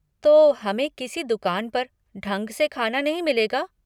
तो हमें किसी दुकान पर ढंग से खाना नहीं मिलेगा?